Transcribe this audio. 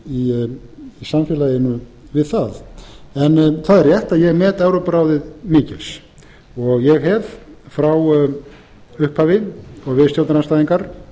í samfélaginu við það það er rétt að ég met evrópuráðið mikils og ég hef frá upphafi og við stjórnarandstæðingar